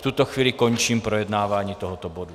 V tuto chvíli končím projednávání tohoto bodu.